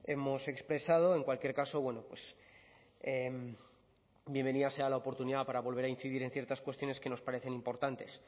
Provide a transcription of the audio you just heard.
hemos expresado en cualquier caso bueno pues bienvenida sea la oportunidad para volver a incidir en ciertas cuestiones que nos parecen importantes